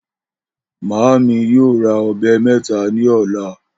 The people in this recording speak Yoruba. Màámi yóò ra o̩be̩ mé̩ta ní ò̩la